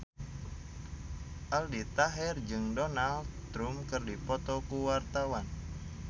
Aldi Taher jeung Donald Trump keur dipoto ku wartawan